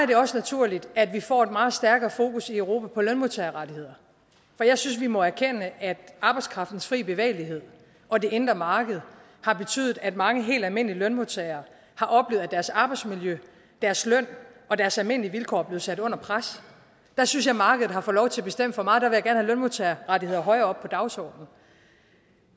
det også naturligt at vi får et meget stærkere fokus i europa på lønmodtagerrettigheder for jeg synes vi må erkende at arbejdskraftens fri bevægelighed og det indre marked har betydet at mange helt almindelige lønmodtagere har oplevet at deres arbejdsmiljø deres løn og deres almindelige vilkår er blevet sat under pres der synes jeg markedet har fået lov til at bestemme for meget der vil jeg lønmodtagerrettigheder højere op på dagsordenen